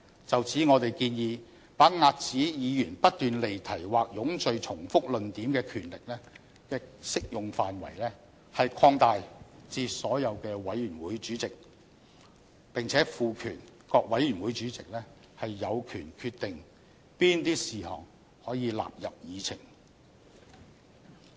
就此，我們建議把遏止議員不斷離題或冗贅重複論點的權力的適用範圍擴大至所有委員會的主席，並且賦權各委員會主席有權決定哪些事項可以納入議程。